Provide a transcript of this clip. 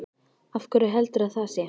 Af hverju heldurðu að það sé?